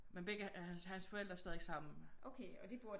Men begge hans forældre er stadig sammen